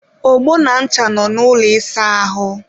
ogbo na ncha nọ n'ụlọ ịsa ahụ